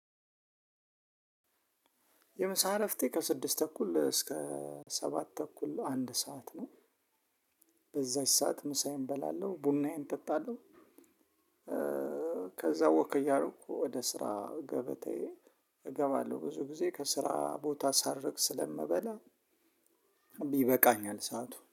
የምሳ ዕረፍቴ ከስድስት ተኩል እስከ ሰባት ተኩል አንድ ሰዓት ነው። በዛች ሰዓት ምሳዬን እበላለሁ ቡናዬን እጠጣለሁ። ከዛ ወክ እያረኩ ወደ ስራ ገበታዬ እገባለሁ ብዙ ጊዜ ከስራ ቦታ ሳርቅ ስለምበላ ይበቃኛል። ሰዓቱ